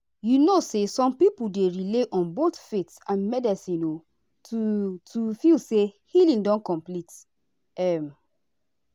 you know say some people dey rely on both faith and medicine o to to feel say healing don complete. um